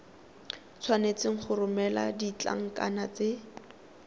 tshwanetse go romela ditlankana tse